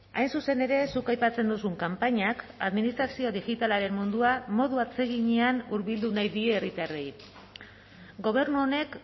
hain zuzen ere zuk aipatzen duzun kanpainak administrazio digitalaren mundua modu atseginean hurbildu nahi die herritarrei gobernu honek